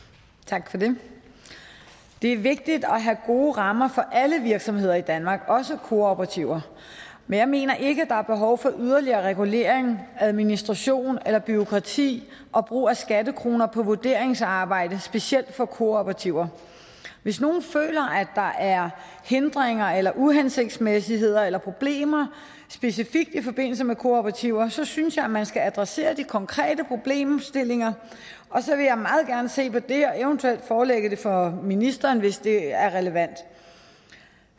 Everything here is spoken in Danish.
tak for det det er vigtigt at have gode rammer for alle virksomheder i danmark også kooperativer men jeg mener ikke at der er behov for yderligere regulering administration eller bureaukrati og brug af skattekroner på vurderingsarbejde specielt for kooperativer hvis nogen føler at der er hindringer eller uhensigtsmæssigheder eller problemer specifikt i forbindelse med kooperativer så synes jeg man skal adressere de konkrete problemstillinger og så vil jeg meget gerne se på det og eventuelt forelægge det for ministeren hvis det er relevant